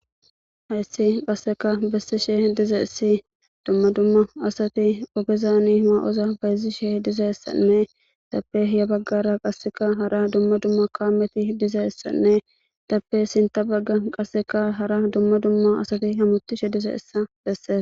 hayssi qasseka besseshe dizaessi dumma dumma asati ogezaani ma7oza bayzi shee dizayessanne tappe hiya baggara qasseka hara dumma dumma kaameti dizaessanne tappe sinta bagga qasseka hara dumma dumma asati hamutishe dizeessa besse